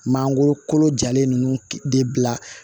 Mangoro kolo jalen ninnu de bila